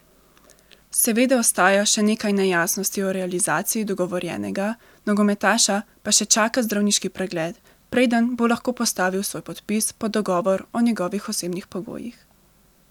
Seveda ostaja še nekaj nejasnosti o realizaciji dogovorjenega, nogometaša pa še čaka zdravniški pregled, preden bo lahko postavil svoj podpis pod dogovor o njegovih osebnih pogojih.